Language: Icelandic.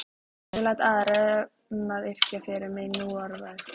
Ég læt aðra um að yrkja fyrir mig núorðið.